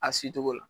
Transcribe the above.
A se cogo la